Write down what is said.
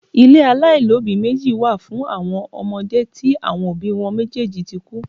Ilé aláìní òbí meji wá fún àwọn ọmọde tí àwọn òbí wọn méjèèjì tí kú